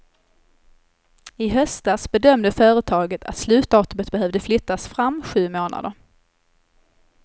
I höstas bedömde företaget att slutdatumet behövde flyttas fram sju månader.